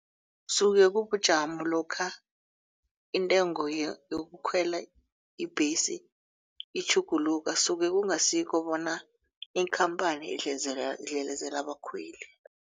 Suke kubujamo lokha intengo yokukhwela ibhesi itjhuguluka suke kungasikho bona iinkhamphani idlelezela abakhweli.